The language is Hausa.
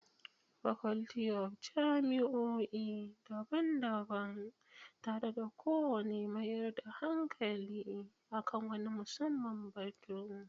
Faculty of jami'o'i daban-daban, tare da kowane mayar da hankali a kan wani musamman batu.